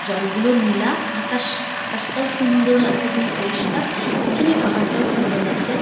জল গুলো নীলা আকাশ আকাশটাও সুন্দর লাগছে একদম পরিষ্কার পেছনের পাহাড় টাও সুন্দর লাগছে।